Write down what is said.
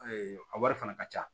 a wari fana ka ca